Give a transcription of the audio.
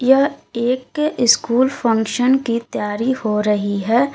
यह एक school function की तैयारी हो रही है।